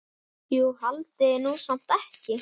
Jú, haldiði nú samt ekki.